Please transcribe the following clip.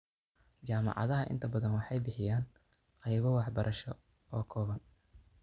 Jaamacadaha inta bathan waxay bixiyaan qaybo waxbarasho oo kooban.